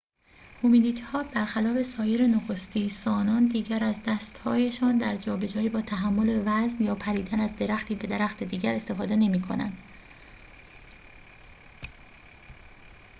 هومینیدها برخلاف سایر نخستی‌سانان دیگر از دست‌هایشان در جابجایی یا تحمل وزن یا پریدن از درختی به درخت دیگر استفاده نمی‌کنند